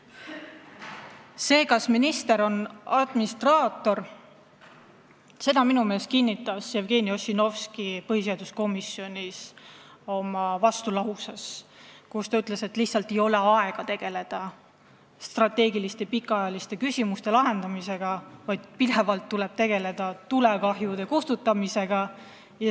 Vastuse, kas minister on administraator, andis minu meelest Jevgeni Ossinovski põhiseaduskomisjonis, kui ta ütles, et tal lihtsalt ei ole aega tegeleda strateegiliste pikaajaliste küsimuste lahendamisega, sest pidevalt tuleb tegeleda tulekahjude kustutamisega.